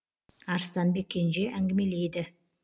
арыстанбек кенже әңгімелейді